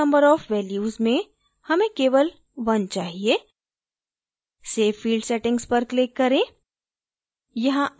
allowed number of values में हमें केवल 1 चाहिए save field settings पर click करें